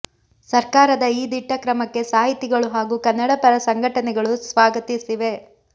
ಸರ್ಕಾರದ ಈ ದಿಟ್ಟ ಕ್ರಮಕ್ಕೆ ಸಾಹಿತಿಗಳು ಹಾಗೂ ಕನ್ನಡ ಪರ ಸಂಘಟನೆಗಳು ಸ್ವಾಗತಿಸಿವೆ